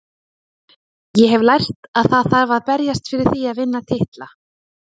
Ég hef lært að það þarf að berjast fyrir því að vinna titla.